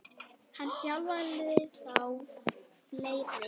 Hann þjálfaði þá og fleiri.